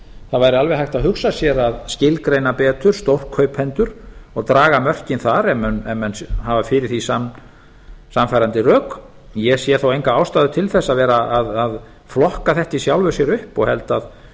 það væri alveg hægt að hugsa sér að skilgreina betur stórkaupendur og draga mörkin þar ef menn hafa fyrir því sannfærandi rök ég sé þó enga ástæðu til þess að vera að flokka þetta í sjálfu sér upp og held að